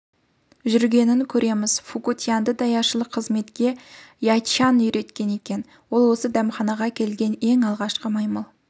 жүргенін көреміз фуку-тянды даяшылық қызметке яччан үйреткен екен ол осы дәмханаға келген ең алғашқы маймыл